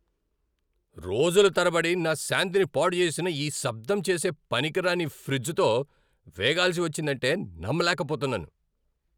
రోజుల తరబడి నా శాంతిని పాడు చేసిన ఈ శబ్దం చేసే పనికిరాని ఫ్రిజ్తో వేగాల్సి వచ్చిందంటే నమ్మలేకపోతున్నాను!